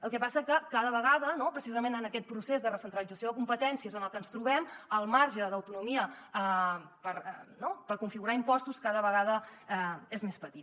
el que passa és que cada vegada no precisament en aquest procés de recentralització de competències en el que ens trobem el marge d’autonomia per configurar impostos cada vegada és més petit